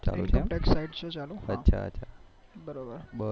બરોબર